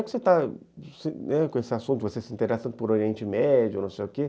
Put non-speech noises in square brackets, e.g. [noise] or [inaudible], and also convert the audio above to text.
[unintelligible] esse assunto, você se interessa por Oriente Médio, não sei o quê.